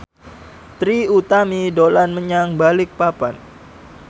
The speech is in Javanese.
Trie Utami dolan menyang Balikpapan